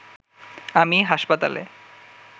আমি হাসপাতালে